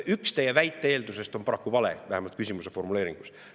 Üks teie väite eeldustest on paraku vale, vähemalt küsimuse formuleeringus.